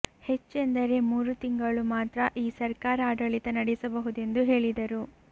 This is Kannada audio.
ಹೆಚ್ಚೆಂದರೆ ಮೂರು ತಿಂಗಳು ಮಾತ್ರ ಈ ಸರ್ಕಾರ ಆಡಳಿತ ನಡೆಸಬಹುದೆಂದು ಹೇಳಿದರು